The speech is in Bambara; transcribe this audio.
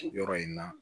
Yɔrɔ in na